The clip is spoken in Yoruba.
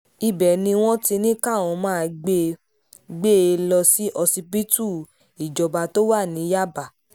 ibẹ̀ ni wọ́n ti ní káwọn máa gbé gbé e lọ sí ọsibítù ìjọba tó wà ní yàbá